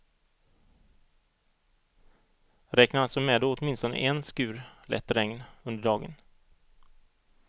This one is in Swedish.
Räkna alltså med åtminstone en skur lätt regn under dagen.